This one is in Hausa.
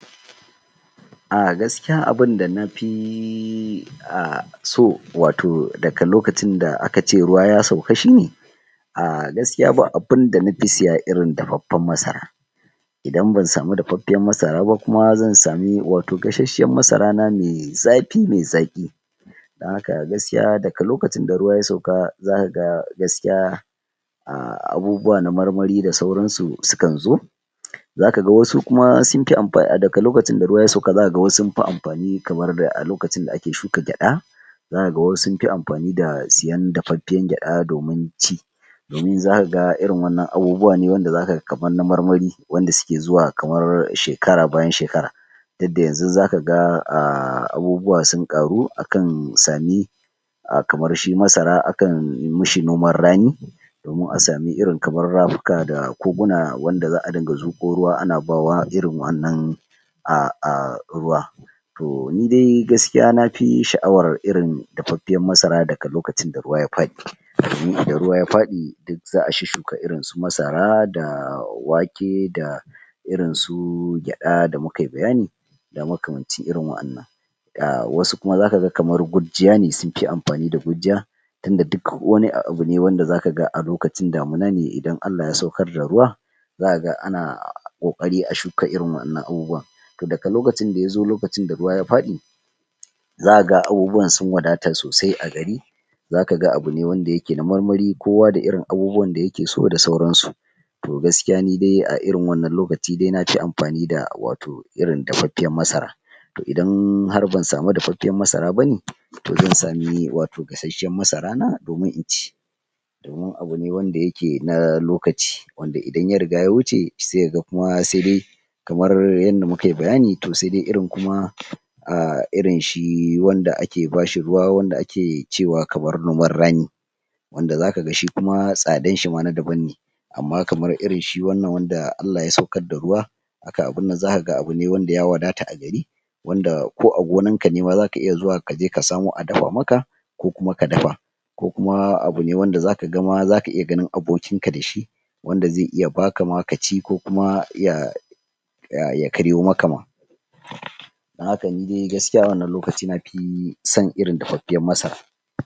A gaskiya abin da nafi........ so wato daga lokacin da aka ce ruwa ya sauka shine gaskiya ba abun da nafi siya irin dafaffiyar masara idan ban samu dafaffafiyar masara ba kuma zan samu gashash shiyar masarana me zafi ,me daɗi dan haka gaskiya daga lokacin da ruwaya sauka, zaka ga gaskiya abubuwa na marmari da sauransu sukan zo zaka ga wasu kuma sunfi ,daga lokacin da ruwa ya sauka zakaga sunfi amfani kamar a lokacin da ake shuka gyaɗa zaka ga wasu sunfi amfani da siyan dafaffiyar gyaɗa domin ci. in zakaga waɗannan abubuwa ne kamar na marmari wanda suke zuwa kamar shekara bayan shekara yadda yanzu zaka ga abubuwa sun ƙaru akan sami kamar shi masara akan mishi noman rani domin a samu irin Rafuka da Koguna wanda za,a zuƙo ruwa ana bawa irin wannan A.... ruwa to nidai gaskiya nafi shaʼawar irin dafaffafiyar masara daga lokacin da ruwa ya faɗi idan ruwa ya faɗi zaʼa shush shuka irin su masara da wake da irin su gyaɗa da mukai bayani da maka mancin irin waɗannan da wasu kuma zakaga kamar gujjiya ne suna amfani da gujjiya inda duk wani abu ne a lokacin damuna ne idan Allah ya saukar da ruwa zakaga ana ƙoƙari a shuka irin waɗannan abubuwan daga lokacin da yazo lokacin da ruwa ya faɗi zakaga abubuwan sun wadata sosai a gari zakaga abune dayake na marmari kowa da irin abubuwan da yake so da sauransu to gaskiya nidai a irin wannan lokaci nafi amfani da wato irin dafaffiyar masara to idan har ban samu dafaffiyar masara bane zan samu wato gashash shiyar masara na domin in ci wannan abune wanda yake na lokaci wanda idan ya riga ya wuce se kaga kuma se kamar yanda mukai bayani se dai irin kuma irin shi wanda ake bashi ruwa wanda ake cewa kamar noman rani wanda zakaga tsadarshi ma na daban ne amman kamar irin shi wannan wanda Allah ya saukar da ruwa zakaga abu ne wanda ya wadata agari wanda ko a gonarka nema zaka je ka samo a daf maka ko kuma ka dafa ko kuma abune wanda zaka iya ganin abokin ka dashi wanda ze iya baka ma kaci ko kuma ya ya karyo maka ma dan haka nidai gaskiya wannan lokaci nafi son dafaffiyar masara